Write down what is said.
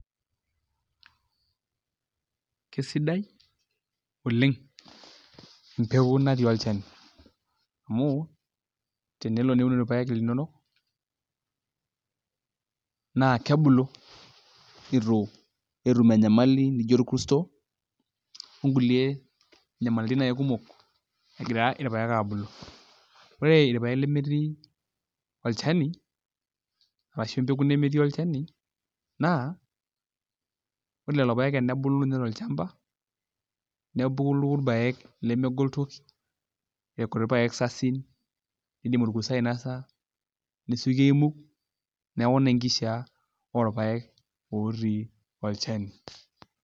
Kesidai oleng empeku natii olchani amu teniun irpaek linonok naa kebulu itu etum enyamali nijio orkuto on kulie nyamalitin naai kumok egira irpaek abulu Ore irpaek lemetii olchani arashu empeku nemeti olchani naa ore lelo paek enebulu inye tolchamba nebulu irpaek lemegol toki irkuti paek sasin oidim orkuto ainasa nesioki aimug neeku ina enkishaa orpaek otii olchani.